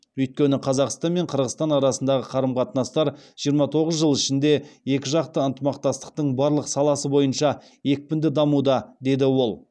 өйткені қазақстан мен қырғызстан арасындағы қарым қатынастар жиырма тоғыз жыл ішінде екіжақты ынтымақтастықтың барлық саласы бойынша екпінді дамуда деді ол